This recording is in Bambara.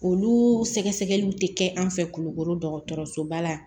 Olu sɛgɛsɛgɛliw tɛ kɛ an fɛ kulukoro dɔgɔtɔrɔsoba la